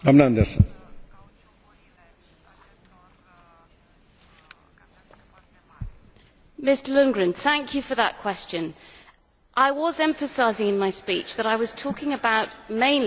Mr Lundgren, thank you for that question. I was emphasising in my speech that I was talking about mainly policies on HGVs in general across the board, not just mega trucks.